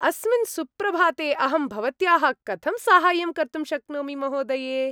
अस्मिन् सुप्रभाते अहं भवत्याः कथं साहाय्यं कर्तुं शक्नोमि, महोदये?